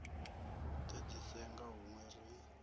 do di senga hunwe ri